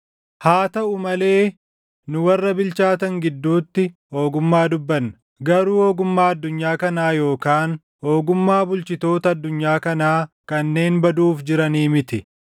Haa taʼuu malee nu warra bilchaatan gidduutti ogummaa dubbanna; garuu ogummaa addunyaa kanaa yookaan ogummaa bulchitoota addunyaa kanaa kanneen baduuf jiranii miti.